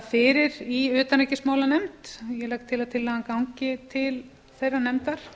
fyrir í utanríkismálanefnd ég legg til að tillagan gangi til þeirrar nefndar